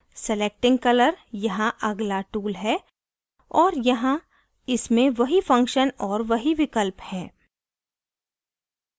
selecting colour यहाँ अगला tool है और यहाँ इसमें वही function और वही विकल्प हैं